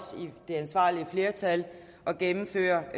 i det ansvarlige flertal at gennemføre